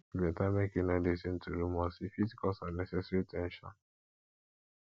e better make you no lis ten to rumors e fit cause unnecessary ten sion